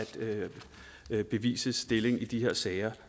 at bevisets stilling i de her sager